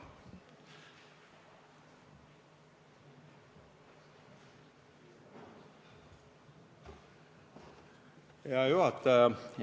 Hea juhataja!